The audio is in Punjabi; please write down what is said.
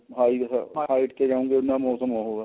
height ਤੇ ਜਾਣਗੇ ਉਹਨਾ ਮੋਸਮ ਉਹ ਹੈ